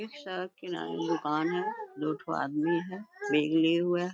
एक सड़क किनारे दुकान है दो ठो आदमी है बैग लिए हुआ है।